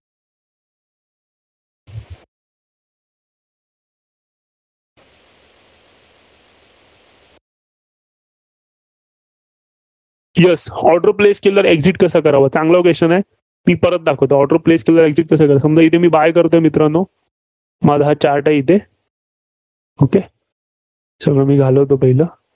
Yes order place केल्यावर exit कसं करावं. चांगला Question आहे. ती परत दाखवतो. order place केल्यावर Exit कसं करायचं? समजा मी इथं buy करतोय मित्रांनो, माझा हा chart आहे इथे. Okay सगळं मी घालवतो पहिलं.